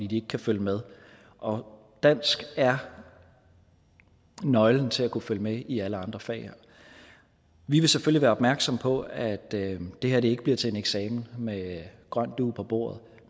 de ikke kan følge med og dansk er nøglen til at kunne følge med i alle andre fag vi vil selvfølgelig være opmærksom på at det her ikke bliver til en eksamen med grøn dug på bordet